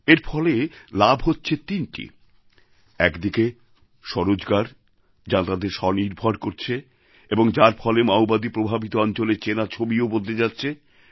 এর ফলে লাভ হচ্ছে তিনটি একদিকে স্বরোজগার যা তাঁদের স্বনির্ভর করছে এবং যার ফলে মাওবাদী প্রভাবিত অঞ্চলের চেনা ছবিও বদলে যাচ্ছে